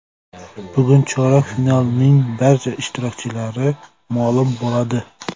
Bugun chorak finalning barcha ishtirokchilari ma’lum bo‘ladi.